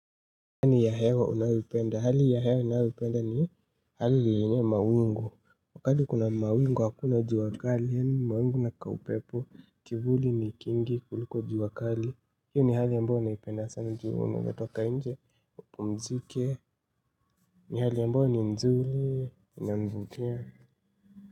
Hali ya hewa unayoipenda, hali ya hewa ninayo ipenda ni hali yenye mawingu wakati kuna mawingu hakuna jua kali, yani mawingu na kaupepo, kivuli ni kingi kuliko jua kali hio ni hali ambayo ninaipenda sana juu unaeza toka nje upumzike, ni hali ambayo ni mzuri, inanivutia.